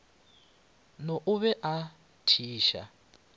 na o be a thiša